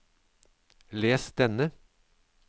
les denne